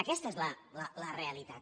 aquesta és la realitat